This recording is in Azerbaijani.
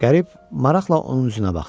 Qərib maraqla onun üzünə baxdı.